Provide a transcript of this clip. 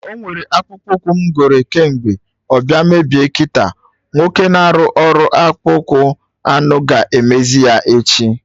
Ọnwere akpụkpọ ụkwụ m goro kemgbe, ọ bịa mebie kịta, nwoke na-arụ ọrụ ọkpụkpụ anụ ga-emezi ya echi